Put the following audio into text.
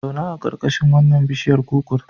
Zauna a ƙarƙashin wannan biishiyar kukur.